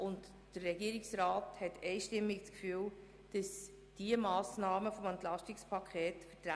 Der Regierungsrat hat einstimmig das Gefühl, die Massnahmen des EP seien vertretbar.